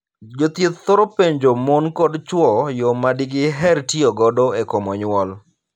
Jothieth thoro penjo mon kod chwo yoo ma di giher tiyo godo e komo nyuol.